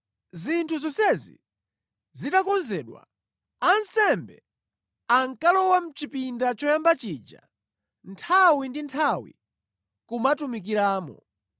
Zinthu zonsezi zitakonzedwa, ansembe ankalowamo mʼchipinda choyamba chija nthawi ndi nthawi kumatumikiramo.